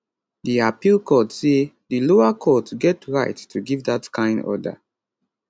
di appeal court say di lower court get right to give dat kain order